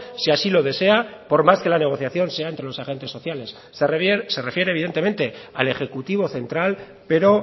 si así lo desea por más que la negociación sea entre los agentes sociales se refiere evidentemente al ejecutivo central pero